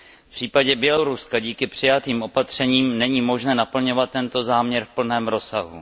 V případě Běloruska, díky přijatým opatřením, není možné naplňovat tento záměr v plném rozsahu.